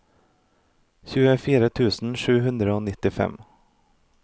tjuefire tusen sju hundre og nittifem